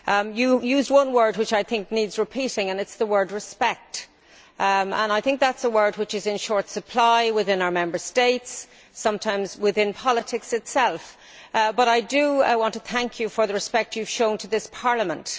You used one word which I think needs repeating and it is the word respect'. I think that is a word which is in short supply within our Member States, sometimes within politics itself, but I do want to thank you for the respect you have shown to this Parliament.